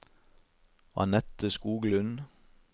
Anette Skoglund